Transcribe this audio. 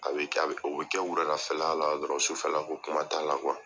A bi kɛ, o bi kɛ wuladafɛla la dɔrɔn sufɛ la ko kuma t'a la